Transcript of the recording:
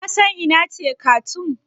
Ka san ina ce Karthoum?